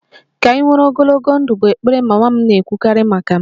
Ka ị nwere ogologo ndụ' bụ ekpere mama m na-ekwukarị maka m